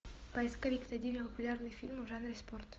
поисковик найди мне популярные фильмы в жанре спорт